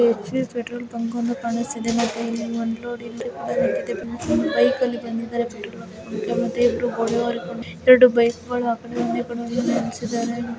HP petrol bunk ಒಂದು ಕಾಣಿಸ್ತಾ ಇದೆ ಮತ್ತೆ ಇಲ್ಲಿ ಅನ್ಲೋಡಿಂಗ್ ಒಂದು ಲೋರಿ ಕೂಡಾ ನಿಂತ್ತಿದೆ ಪೆಟ್ರೋಲ್ ಬಂಕಲ್ಲಿ ಬೈಕ್ ಅಲ್ಲಿ ಬಂದಿದ್ದಾರೆ ಪೆಟ್ರೋಲ್ ಹಾಕೋಕೆ ಮತ್ತೆ ಇಬ್ರು ಗೋಡೆ ಒರಗ್ ಕೊಂಡ್ ನಿಂತ್ತಿದ್ದಾರೆ ಎರಡು ಬೈಕುಗಳು ಆಕಡೆ ಒಂದೇ ಕಡೆ ನಿಲ್ಸಿದ್ದಾರೆ.